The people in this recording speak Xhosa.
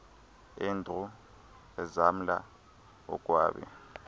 andrew ezamla akwabe